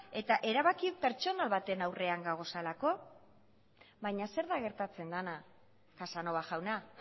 eta erabaki pertsonal baten aurrena gaudelako baina zer da gertatzen dena casanova jauna